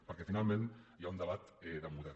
perquè finalment hi ha un debat de model